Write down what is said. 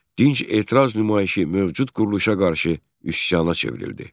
Dinc etiraz nümayişi mövcud quruluşa qarşı üsyana çevrildi.